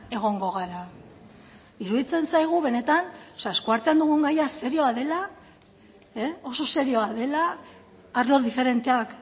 egongo gara iruditzen zaigu benetan o sea eskuartean dugun gaia serioa dela oso serioa dela arlo diferenteak